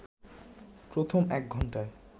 প্রথম এক ঘন্টায়